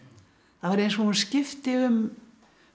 það var eins og hún skipti um